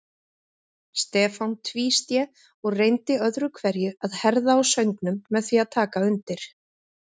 Stefán tvísté og reyndi öðru hverju að herða á söngnum með því að taka undir.